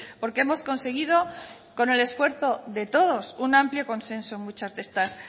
porque hemos conseguido con el esfuerzo de todos un amplio consenso en muchas de estas